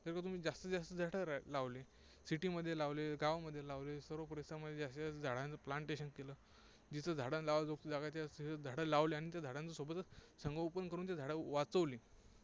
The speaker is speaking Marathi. जर का तुम्ही जास्तीत जास्त झाडं लावले, city मध्ये लावले, गावामध्ये लावले, सर्व परिसरामध्ये जास्तीत जास्त झाडांचं plantation केलं, जिथे झाडं लावण्या जोगती जागा आहे, तिथे झाडं लावली आणि त्या झाडांचं सोबतच संगोपन करून ते झाडं वाचवली